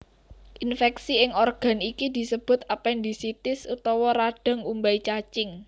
Infèksi ing organ iki disebut apendisitis utawa radhang umbai cacing